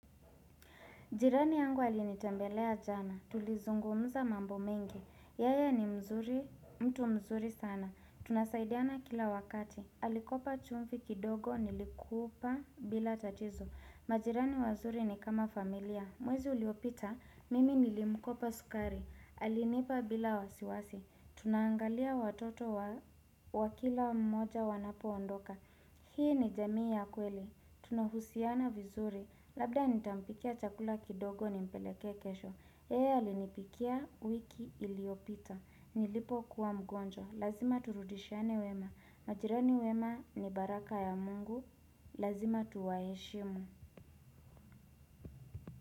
Jirani yangu alinitembelea jana. Tulizungumza mambo mengi. Yeye ni mtu mzuri sana. Tunasaidiana kila wakati. Alikopa chumvi kidogo nilikupa bila tatizo. Majirani wazuri ni kama familia. Mwezi uliopita, mimi nilimkopa sukari. Alinipa bila wasiwasi. Tunangalia watoto wa kila mmoja wanapoondoka. Hii ni jamii ya kweli. Tunahusiana vizuri. Labda nitampikia chakula kidogo nimpeleke kesho. Yeye alinipikia wiki iliyopita. Nilipo kuwa mgonjwa Lazima turudishiane wema. Majirani wema ni baraka ya mungu. Lazima tuwaheshimu.